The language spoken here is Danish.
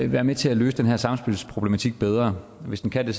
være med til at løse den her samspilsproblematik bedre hvis de kan det